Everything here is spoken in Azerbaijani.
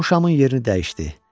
O şamın yerini dəyişdi.